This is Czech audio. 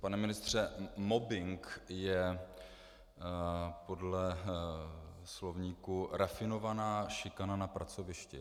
Pane ministře, mobbing je podle slovníku rafinovaná šikana na pracovišti.